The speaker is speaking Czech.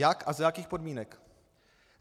Jak a za jakých podmínek?